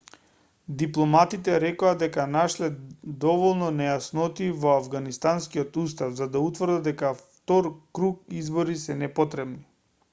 дипломатите рекоа дека нашле доволно нејаснотии во авганистанскиот устав за да утврдат дека втор круг избори се непотребни